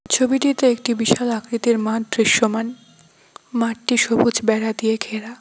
ছবিটিতে একটি বিশাল আকৃতির মাঠ দৃশ্যমান মাঠটি সবুজ বেড়া দিয়ে ঘেরা।